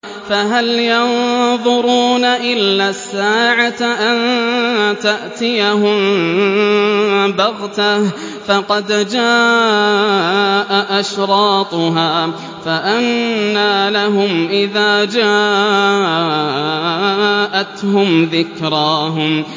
فَهَلْ يَنظُرُونَ إِلَّا السَّاعَةَ أَن تَأْتِيَهُم بَغْتَةً ۖ فَقَدْ جَاءَ أَشْرَاطُهَا ۚ فَأَنَّىٰ لَهُمْ إِذَا جَاءَتْهُمْ ذِكْرَاهُمْ